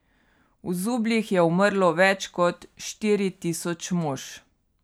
V zubljih je umrlo več kot štiri tisoč mož.